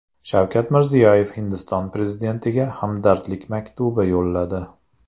Shavkat Mirziyoyev Hindiston prezidentiga hamdardlik maktubi yo‘lladi.